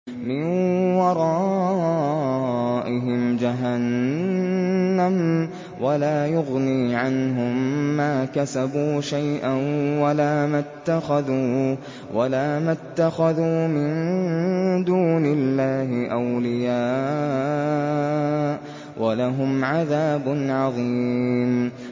مِّن وَرَائِهِمْ جَهَنَّمُ ۖ وَلَا يُغْنِي عَنْهُم مَّا كَسَبُوا شَيْئًا وَلَا مَا اتَّخَذُوا مِن دُونِ اللَّهِ أَوْلِيَاءَ ۖ وَلَهُمْ عَذَابٌ عَظِيمٌ